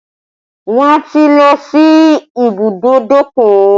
Wọn ti lọ sí ìbùdókọ̀